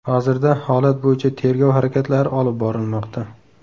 Hozirda holat bo‘yicha tergov harakatlari olib borilmoqda.